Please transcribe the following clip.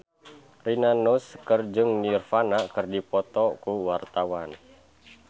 Rina Nose jeung Nirvana keur dipoto ku wartawan